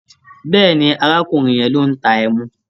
Bẹ́ẹ̀ni, arákùrin yẹn ló ń ta ẹmu.